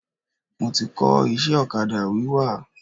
Mo ti kọ́ iṣẹ́ ọ̀kadà wíwà.